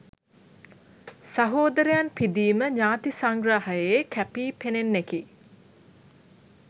සහෝදරයන් පිදීම ඥාති සංග්‍රහයේ කැපී පෙනෙන්නෙකි.